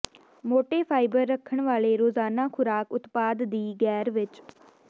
ਮੋਟੇ ਫਾਈਬਰ ਰੱਖਣ ਵਾਲੇ ਰੋਜ਼ਾਨਾ ਖੁਰਾਕ ਉਤਪਾਦ ਦੀ ਗੈਰ ਵਿਚ